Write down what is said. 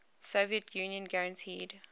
soviet union guaranteed